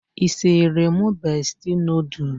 Isiri mụ besti noodul?